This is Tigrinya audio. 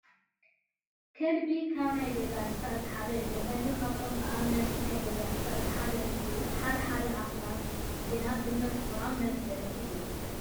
ከልቢ ካብ ናይ ገዛ እንስስሳት እቲ ሓደ እዩ። ከልቢ ካብቶም ተኣመንቲ ናይ ገዛ እንስሳት እቲ ሓደ እንትኸውን ሓደ ሓደ ኣክልብቲ ግና ብመልክዖም መፅላእቲ እዮም።